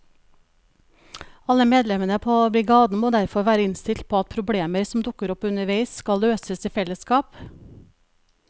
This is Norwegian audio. Alle medlemmene på brigaden må derfor være innstilt på at problemer som dukker opp underveis skal løses i fellesskap.